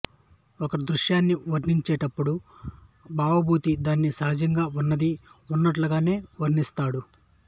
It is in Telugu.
ఒక దృశ్యాన్ని వర్ణించేటప్పుడు భవభూతి దానిని సహజంగా వున్నది ఉన్నట్లుగానే వర్ణిస్తాడు